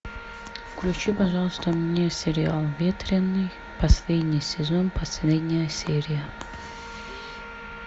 включи пожалуйста мне сериал ветреный последний сезон последняя серия